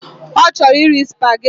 Ọ chọrọ iri spaghetti